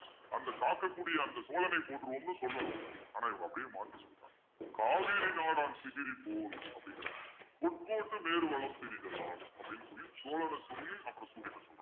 அந்த காக்கக்கூடிய அந்த சோழனை போற்றுவோம்ன்னு சொல்லணும். ஆனா இவங்க அப்படியே மாத்தி சொல்றாங்க காவிரி நாடான் திகிரி போல் அப்படிங்கிறாங்க பொற்கோட்டு மேரு வலம்திரி தலான் அப்பிடின்னு சொல்லி சோழனை சொல்லி அப்புறம் சூரியனை சொல்றான்